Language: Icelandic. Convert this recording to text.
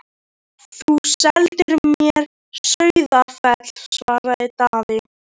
Þú seldir mér Sauðafell, svaraði Daði.